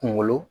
Kunkolo